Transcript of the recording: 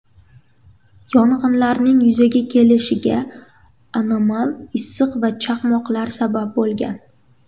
Yong‘inlarning yuzaga kelishiga anomal issiq va chaqmoqlar sabab bo‘lgan.